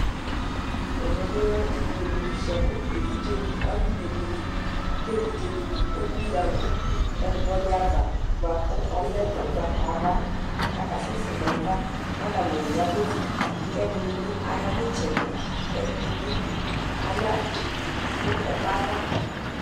Ɛmɛ bilɛ ibuele fʋ bʋakʋ evidzeni akɔne buele, kʋ evidze dini emʋ yanʋ ɛkplɔdi ava bʋakʋ ɔlɛ ʋgbatawla, kʋ asɛsɛ nʋ ayava, kʋ atani ayavɛzi Kʋ ɛdinibi ayanʋ itsɛdi, kʋ ɛdinibi aya nʋ ɛkʋ yɛ ava